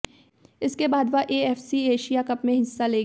इसके बाद वह एएफसी एशिया कप में हिस्सा लेगी